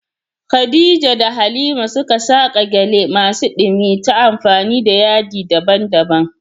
Khadija da Halima suka saƙa gyale masu ɗumi ta amfani da yadi daban-daban.